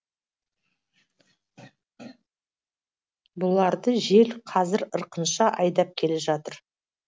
бұларды жел қазір ырқынша айдап келе жатыр